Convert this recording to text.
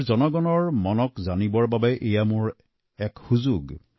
দেশৰ জনগণৰ ভাৱনা আৰু মনৰ কথা জনাৰ ই মোৰ বাবে এক ডাঙৰ সুযোগ